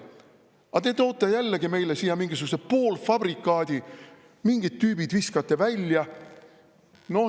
Aga te toote jälle meile siia mingisuguse poolfabrikaadi, mingid tüübid viskate välja.